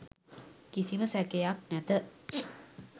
කිසිම සැකයක් නැත.